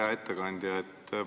Hea ettekandja!